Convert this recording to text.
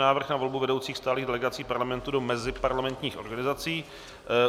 Návrh na volbu vedoucích stálých delegací Parlamentu do meziparlamentních organizací